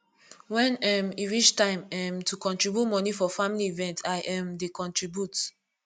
wen um e reach time um to contribute moni for family event i um dey contribute